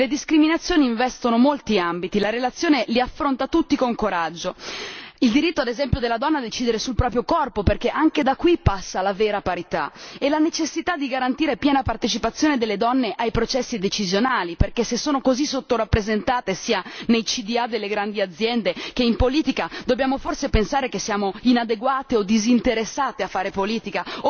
Le discriminazioni investono molti ambiti, la relazione li affronta tutti con coraggio il diritto, ad esempio, della donna di decidere del proprio corpo, perché anche da qui passa la vera parità, e la necessità di garantire piena partecipazione delle donne ai processi decisionali perché, se sono così sottorappresentate sia nei consigli di amministrazione delle grandi aziende sia in politica, dobbiamo forse pensare che siamo inadeguate o disinteressate a fare politica?